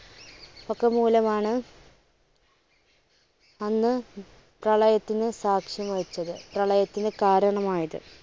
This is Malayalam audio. ഒക്കെ മൂലം ആണ് അന്ന് പ്രളയത്തിന് സാക്ഷ്യം വഹിച്ചത്. പ്രളയത്തിന് കാരണമായത്.